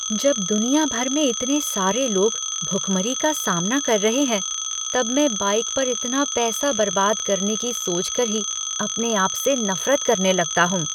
जब दुनिया भर में इतने सारे लोग भूखमरी का सामना कर रहे हैं तब मैं बाइक पर इतना पैसा बर्बाद करने की सोचकर ही अपने आप से नफरत करने लगता हूँ।